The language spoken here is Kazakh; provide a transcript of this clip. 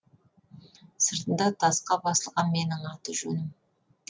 сыртында тасқа басылған менің аты жөнім